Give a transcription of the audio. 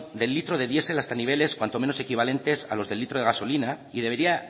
del litro de diesel hasta niveles cuanto menos equivalentes a los del litro de gasolina y debería